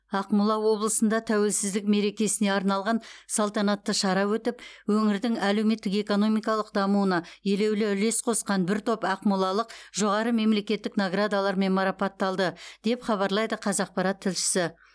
ақмола облысында тәуелсіздік мерекесіне арналған салтанатты шара өтіп өңірдің әлеуметтік экономикалық дамуына елеулі үлес қосқан бір топ ақмолалық жоғары мемлекеттік наградалармен марапатталды деп хабарлайды қазақпарат тілшісі